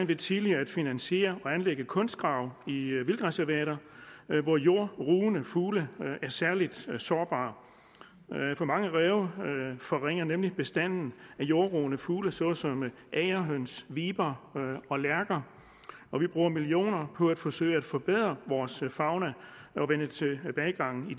ved tidligere at finansiere og anlægge kunstgrave i vildtreservater hvor jordrugende fugle er særligt sårbare for mange ræve forringer nemlig bestanden af jordrugende fugle såsom agerhøns viber og lærker og vi bruger millioner på at forsøge at forbedre vores fauna og vende tilbagegangen i